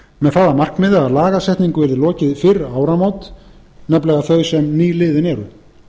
með það að markmiði að lagasetningu yrði lokið fyrir áramót nefnilega þau sem nýliðin eru